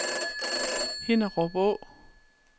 Hinnerup Å